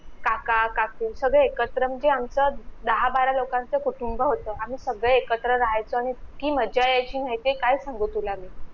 काका काकू सगळे एकत्र म्हणजे आमचं दहा बारा लोकांच कुटुंब होत आम्ही सगळे एकत्र राहायचो इतकी मज्जा येयची माहितीये काय सांगू तुला मी